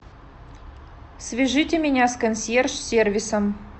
свяжите меня с консьерж сервисом